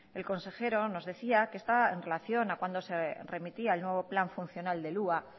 el consejero nos decía que estaba en relación a cuándo se remitía el nuevo plan funcional del hua